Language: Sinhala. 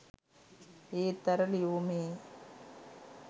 ඒත් අර ලියුමේ